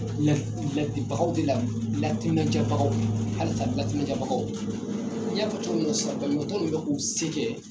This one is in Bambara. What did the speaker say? La ladibagaw de la latiminadiyabagaw halasa latiminadiyabagaw n y'a fɔ cogo min sisan banabagatɔ ninnu bɛ k'u se kɛ